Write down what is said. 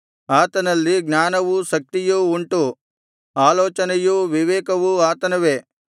ಆತನಲ್ಲಿ ಜ್ಞಾನವೂ ಶಕ್ತಿಯೂ ಉಂಟು ಆಲೋಚನೆಯೂ ವಿವೇಕವೂ ಆತನವೇ